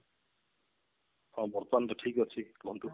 ହଁ ବର୍ତମାନ ତ ଠିକ ଅଛି କୁହନ୍ତୁ